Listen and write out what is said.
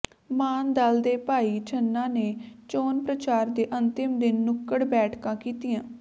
ਮਾਨ ਦਲ ਦੇ ਭਾਈ ਛੰਨਾ ਨੇ ਚੋਣ ਪ੍ਰਚਾਰ ਦੇ ਅੰਤਿਮ ਦਿਨ ਨੁੱਕੜ ਬੈਠਕਾਂ ਕੀਤੀਆਂ